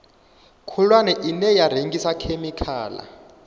khulwane ine ya rengisa khemikhala